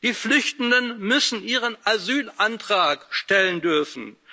Die Flüchtenden müssen ihren Asylantrag stellen dürfen.